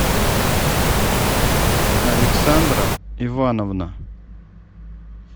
александра ивановна